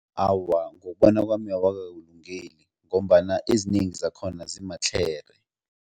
Awa, ngokubona kwami awakakulungeli ngombana ezinengi zakhona ziimatlhere.